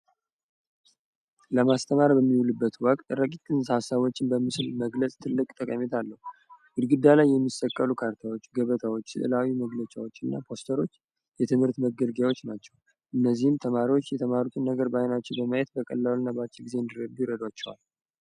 ለማስተማር በሚውልበት ወቅት ረቂቅ ሀሳቦችን በምስል መግለጽ ትልቅ ጠቀሜታ አለው። በግድግዳ የሚሰቀሉ ካርታዎች ገበታዎች መግለጫዎች እና ፖስተሮች የትምህርት መግቢያዎች ናቸው እነዚህን ተማሪዎች የተማሩት ነገር በአይናችን በማየት በቀላሉና በአጭር ጊዜ እንዲረዱ የግዛቸዋል።